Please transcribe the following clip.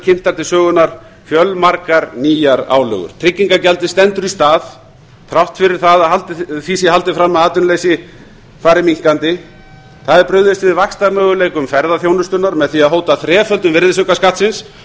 kynntar til sögunnar fjölmargar nýjar álögur tryggingagjaldið stendur í stað þrátt fyrir það að því sé haldið fram að atvinnuleysi fari minnkandi það er brugðist við vaxtarmöguleikum ferðaþjónustunnar með því að hóta þreföldun virðisaukaskattsins